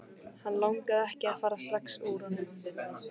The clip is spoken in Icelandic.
Hann langaði ekki að fara strax úr honum.